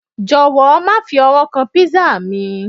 jọwọ, ma fi ọwọ kan pizza mi